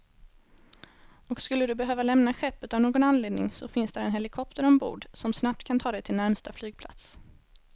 Och skulle du behöva lämna skeppet av någon anledning så finns där en helikopter ombord, som snabbt kan ta dig till närmsta flygplats.